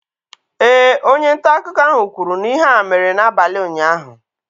Ee, onye nta akụkọ ahụ kwuru na ihe a mere n'abalị ụnyahụ.